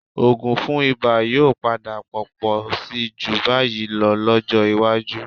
Òògùn fún ibà yóò padà pọ̀ pọ̀ síi jù báyìí lọ lọ́jọ́ iwájú